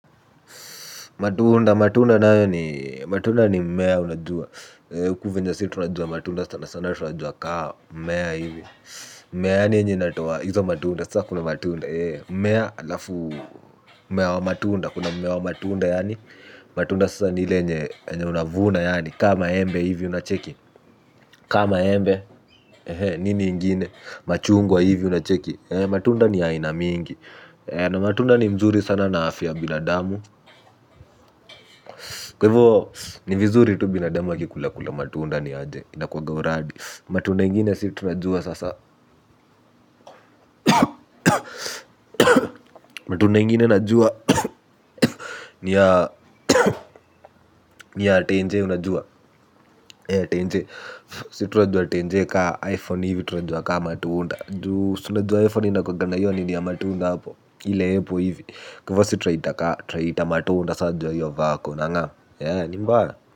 Matunda, matunda nayo ni, matunda ni mmea unajua. Huku vyenye sisi tunajua matunda sana sana tunajua kama mmea hivi. Mmea yaani yenye inatoa hizo matunda sasa kuna matunda mmea halafu mmea wa matunda kuna mmea wa matunda yaani matunda sasa ni ile yenye yenye unavuna yaani kaa maembe hivi unacheki kaa maembe nini ingine machungwa hivi unacheki. Matunda ni ya aina mingi, na matunda ni mzuri sana na afya ya binadamu. Kwa hivyo ni vizuri tu binadamu akikulakula matunda ni aje inakuanga uradi matunda ingine si tunajua sasa matunda ingine najua. Ni ya tenje unajua tenje sisi tunajua tenje kama iphone hivi tunajua kama matuunda juu si unajua iphone inakuanga na hiyo nini ya matunda hapo ile apple hivi kwa hivyo sisi tunaiita matunda sasa juu ya hiyo vako unangam ni mbaya.